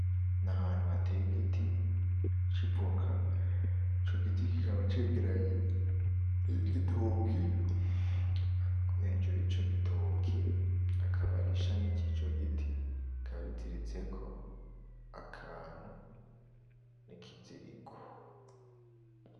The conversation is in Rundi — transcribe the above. N'ahantu hateteye igiti, c'ivoka, ico giti kikaba cegeranye, n'igitoki, hejuru yico gitoki hakaba harishami yico giti rikaba riziritseko, akantu n'ikiziriko.